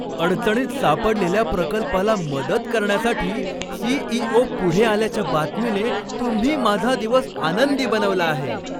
अडचणीत सापडलेल्या प्रकल्पाला मदत करण्यासाठी सी.ई.ओ. पुढे आल्याच्या बातमीने तुम्ही माझा दिवस आनंदी बनवला आहे!